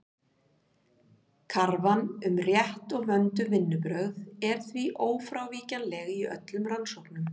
Krafan um rétt og vönduð vinnubrögð er því ófrávíkjanleg í öllum rannsóknum.